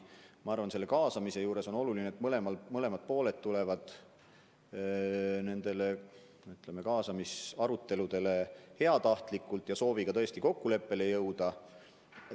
Ma arvan, et kaasamise juures on oluline, et mõlemalt poolelt tullakse nendele kaasamisaruteludele heatahtlikult ja sooviga tõesti kokkuleppele jõuda.